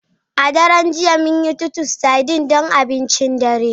A daren jiya, mun yi Titus sardines don abincin dare.